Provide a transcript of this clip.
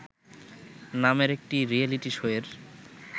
নামের একটি reality show এর